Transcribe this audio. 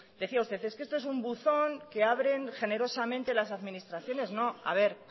decía usted es que esto es un buzón que abren generosamente las administraciones no a ver